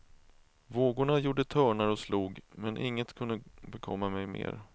Vågorna gjorde törnar och slog men inget kunde bekomma mig mer.